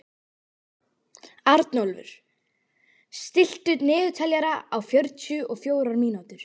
Arnúlfur, stilltu niðurteljara á fjörutíu og fjórar mínútur.